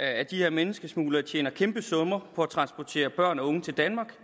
at de her menneskesmuglere tjener kæmpe summer på at transportere børn og unge til danmark